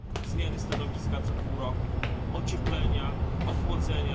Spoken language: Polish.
zmiany stanowiska co pół roku, ocieplenia, ochłodzenia.